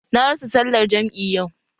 Na rasa sallar jam'i yau